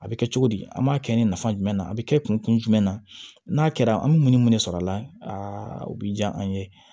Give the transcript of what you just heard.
A bɛ kɛ cogo di an b'a kɛ ni nafa jumɛn na a bi kɛ kun jumɛn na n'a kɛra an bi mun ni mun de sɔrɔ a la o bi ja an ye